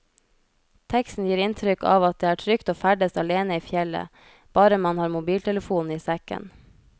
Teksten gir inntrykk av at det er trygt å ferdes alene i fjellet, bare man har mobiltelefonen i sekken.